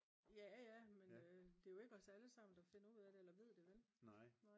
jaja men det er jo ikke os allesammen der finder ud af det eller ved det vel